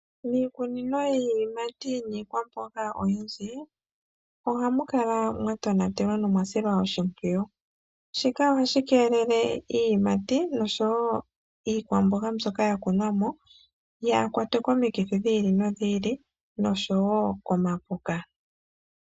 Miikunino yiiyimati niikwamboga oyindji oha mu kala mwa tonatelwa nomwa silwa oshimpwiyu. Shika ohashi keelele iiyimati nosho wo iikwamboga mbyoka ya kunwa mo yaakwatwe komikithi nosho wo komapuka.